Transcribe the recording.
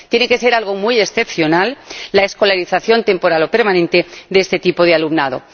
Tiene que ser algo muy excepcional la escolarización temporal no permanente de este tipo de alumnado.